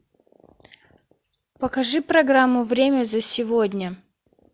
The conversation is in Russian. покажи программу время за сегодня